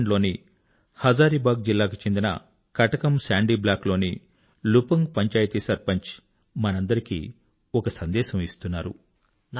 ఝార్ఖండ్ లోని హజారీబాగ్ జిల్లాకు చెందిన కటకమ్ సాండీ బ్లాక్ లోని లుపుంగ్ పంచాయతీ సర్పంచ్ మనందరికీ ఒక సందేశం ఇస్తున్నాడు